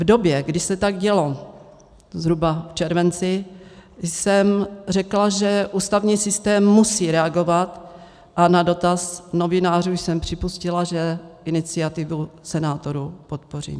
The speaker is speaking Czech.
V době, kdy se tak dělo, zhruba v červenci, jsem řekla, že ústavní systém musí reagovat, a na dotaz novinářů jsem připustila, že iniciativu senátorů podpořím.